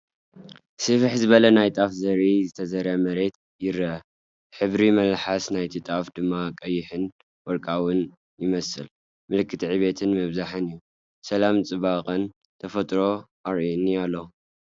ስፍሕ ዝበለ ናይ ጣፍ ዘርኢ ዝተዘርአ መሬት ይርአ። ሕብሪ መለሓስ ናይቲ ጣፍ ድማ ቀይሕን ወርቃውን ይመስል፣ ምልክት ዕብየትን ምብዛሕን እዩ። ሰላምን ጽባቐን ተፈጥሮ ኣርእየኒ ኣሎ።